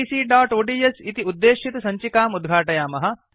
abcओड्स् इति उद्देशितसञ्चिकाम् उद्घाटयामः